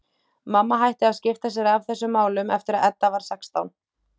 Mamma hætti að skipta sér af þessum málum eftir að Edda varð sextán.